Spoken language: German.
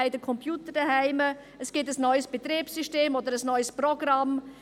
Sie haben einen Computer zu Hause, es gibt ein neues Betriebssystem oder ein neues Programm.